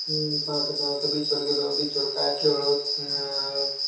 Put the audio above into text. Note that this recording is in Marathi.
हम्म पहाटे सहा वाजता beach वर गेलो, beach वर काय खेळलो. अं